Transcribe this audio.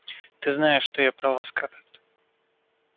ты знаешь что я права скарлетт